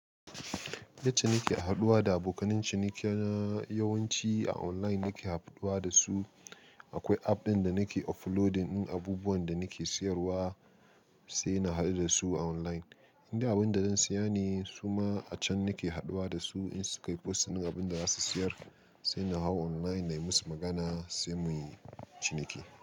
Yacce nake haɗuwa da abokan ciniki na yawanci a online nake haɗuwa da su. Akwai app ɗin da nake uploading ɗin abubuwan da nake siyarwa sai na haɗu da su a online. Indai abunda zan siya ne suma a can nake haɗuwa da su in su kai posts ɗin abin da za su siyar sai na hau online na yi musu magana sai muyi ciniki.